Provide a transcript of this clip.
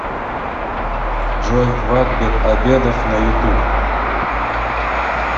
джой вахбет абедов на ютуб